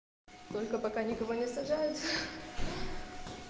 сколько пока никого не заряжается